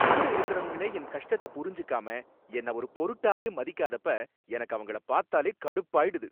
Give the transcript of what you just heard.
கூட இருக்கறவங்களே என் கஷ்டத்த புரிஞ்சுக்காம என்ன ஒரு பொருட்டாவே மதிக்காதப்ப எனக்கு அவங்கள பாத்தாலே கடுப்பாயிடுது.